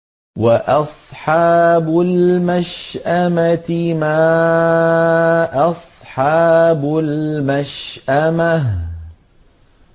وَأَصْحَابُ الْمَشْأَمَةِ مَا أَصْحَابُ الْمَشْأَمَةِ